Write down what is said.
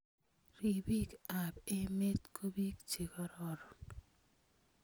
Ripiik ap emet ko piik che kororon.